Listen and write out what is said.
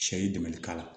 Sɛ ye dɛmɛli k'a la